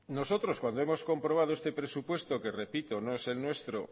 nosotros cuando hemos comprobado este presupuesto que repito no es el nuestro